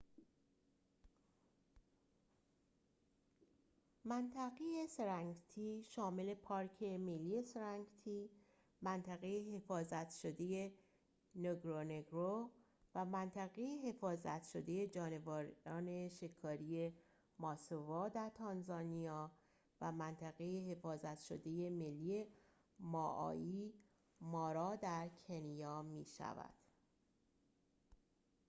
منطقه سرنگتی شامل پارک ملی سرنگتی منطقه حفاظت شده نگورونگورو و منطقه حفاظت شده جانوران شکاری ماسوا در تانزانیا و منطقه حفاظت شده ملی مائایی مارا در کنیا می‌شود